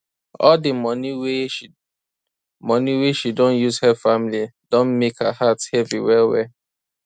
all di money wey she money wey she don use help family don mek her heart heavy wellwell